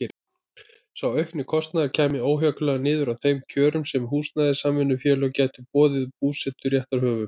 Sá aukni kostnaður kæmi óhjákvæmilega niður á þeim kjörum sem húsnæðissamvinnufélög gætu boðið búseturéttarhöfum.